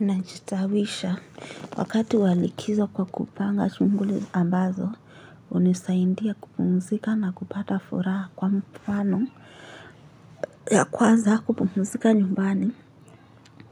Najitawisha wakati walikizo kwa kupanga shunguli ambazo, unisaidia kupumzika na kupata furaha kwa mfano ya kwaza kupumzika nyumbani,